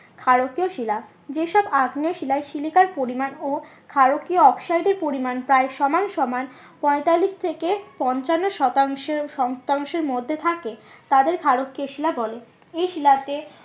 ক্ষারকীয় শিলা যে সব আগ্নেয় শিলায় সিলিকার পরিমান ও ক্ষারকীয় অক্সাইডের পরিমান প্রায় সমান সমান পঁয়তাল্লিশ থেকে পঞ্চান্ন শতাংশ শতাংশের মধ্যে থাকে তাদের ক্ষারকীয় শিলা বলে এই শিলাতে